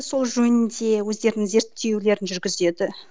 сол жөнінде өздерінің зерттеулерін жүргізеді